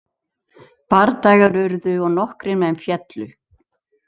Bardagar urðu og nokkrir menn féllu.